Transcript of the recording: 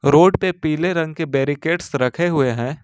Road पर पीले रंग के बैरिकेट्स रखे हुए हैं।